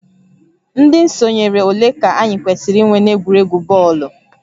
Ndị sonyere ole ka anyị kwesịrị inwe n'egwuregwu bọọlụ?